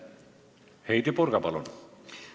Heidy Purga, palun!